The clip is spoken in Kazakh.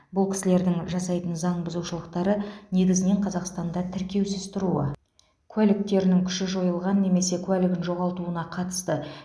бұл кісілердің жасайтын заң бұзушылықтары негізінен қазақстанда тіркеусіз тұруы куәліктерінің күші жойылған немесе куәлігін жоғалтуына қатысты